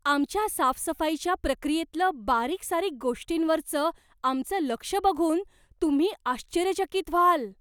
आमच्या साफसफाईच्या प्रक्रियेतलं बारीकसारीक गोष्टींवरचं आमचं लक्ष बघून तुम्ही आश्चर्यचकित व्हाल.